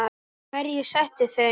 Hverjir settu þau?